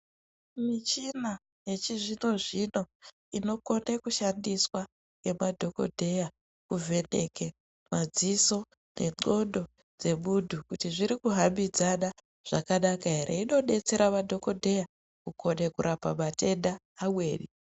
Michina yechizvino-zvino inokone kushandiswa ngemadhogodheya kuvheneke madziso nendxondo dzemuntu kuti zviri kuhambidzana here inodetsera madhogodheya kukone kurapa matenda amweni.